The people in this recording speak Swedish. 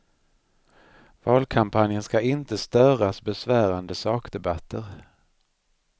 Valkampanjen ska inte störas besvärande sakdebatter.